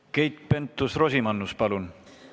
Keit Pentus-Rosimannus, palun!